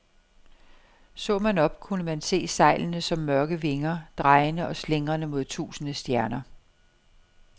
Så man op, kunne man se sejlene som mørke vinger, drejende og slingrende mod tusinde stjerner.